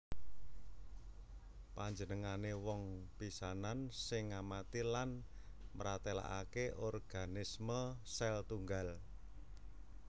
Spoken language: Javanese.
Panjenengané wong pisanan sing ngamati lan mratélakaké organisme sèl tunggal